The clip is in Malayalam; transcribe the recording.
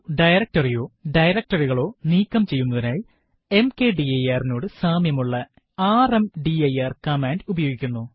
ഒരു directory യോ directory കളോ നീക്കം ചെയ്യുന്നതിനായി mkdir നോട് സാമ്യമുള്ള ർമ്ദിർ കമാൻഡ് ഉപയോഗിക്കുന്നു